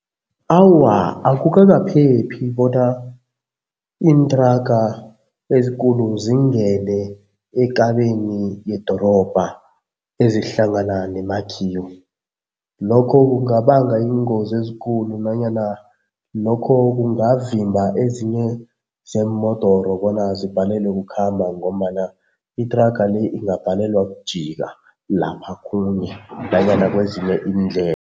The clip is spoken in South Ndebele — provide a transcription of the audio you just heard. Awa, akukakaphephi bona iinthraga ezikulu zingene ekabeni yedorobha ezihlangana nemakhiwo. Lokho kungabanga iingozi ezikulu nanyana lokho kungavimba ezinye zeemodoro bona zibhalelwa kukhamba ngombana ithraga le ingabhalelwa kujika lapha khunye nanyana kwezinye